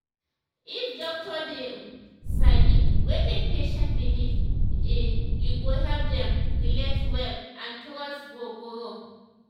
if doctor dey um sabi wetin patient believe e um go help dem relate well and trust go grow